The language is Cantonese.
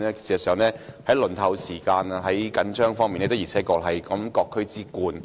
事實上，在輪候時間長和資源緊絀方面，九龍東的確是各區之冠。